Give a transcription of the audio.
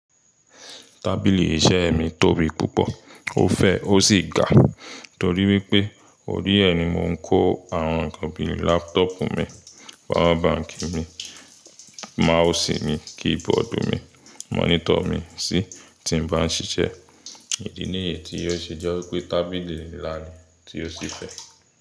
Tábìlì iṣẹ́ mi tóbi púpọ̀, ó fẹ̀ ó sì ga, torí wípé òríẹ̀ ni mo ń kó àwọn nǹkan bíi lápútọ́pù mi, pawa báǹkì mi, máàsì mi, kíbọọ̀dù mi, mọ́nítọ̀ mi sí tí mo bá ń ṣiṣẹ́. Ìdí nìyeén tí ó ṣe jẹ́ wípé tábìlì nla ni tí ó si fẹ̀.